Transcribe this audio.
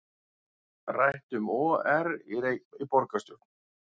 Rætt um OR í borgarstjórn